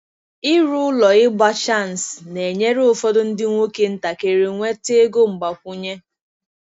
Ịrụ ụlọ ịgba chansi na-enyere ụfọdụ ndị nwoke ntakịrị nweta ego mgbakwunye.